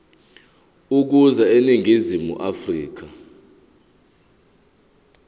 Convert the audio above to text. ukuza eningizimu afrika